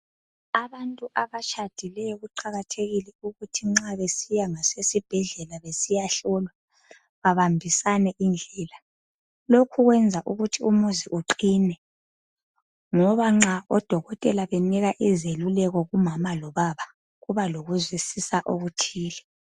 Abantu abatshadileyo kuqakathekile ukuthi nxa besiya esibhedlela besiyehlolwa babambisane indlela. Lokhu kwenza ukuthi umuzi uqine ngoba nxa oDokotela besipha izeluleko kumama lobaba Kuba lokuzwisisa okuthile.